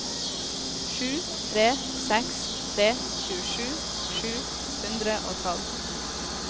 sju tre seks tre tjuesju sju hundre og tolv